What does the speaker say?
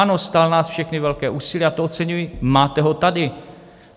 Ano, stál nás všechny velké úsilí a to oceňuji, máte ho tady.